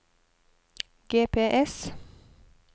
GPS